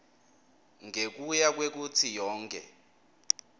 ngekuya kwekutsi yonkhe